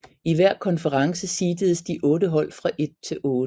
I hver konference seededes de otte hold fra 1 til 8